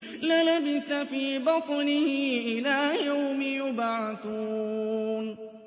لَلَبِثَ فِي بَطْنِهِ إِلَىٰ يَوْمِ يُبْعَثُونَ